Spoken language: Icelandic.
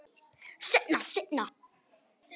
Seinna, seinna.